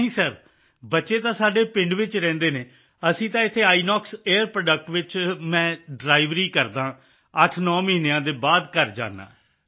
ਨਹੀਂ ਸਰ ਬੱਚੇ ਤਾਂ ਸਾਡੇ ਪਿੰਡ ਵਿੱਚ ਰਹਿੰਦੇ ਹਨ ਅਸੀਂ ਤਾਂ ਇੱਥੇ ਆਈਐਨਓਐਕਸ ਏਆਈਆਰ ਪ੍ਰੋਡਕਟ ਵਿੱਚ ਮੈਂ ਡਰਾਈਵਰੀ ਵਰਕਿੰਗ ਏਐੱਸ ਏ ਡ੍ਰਾਈਵਰ ਕਰਦਾ ਹਾਂ 89 ਮਹੀਨਿਆਂ ਦੇ ਬਾਅਦ ਘਰ ਜਾਂਦਾ ਹਾਂ